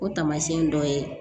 O taamasiyɛn dɔ ye